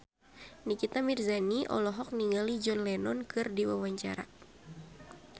Nikita Mirzani olohok ningali John Lennon keur diwawancara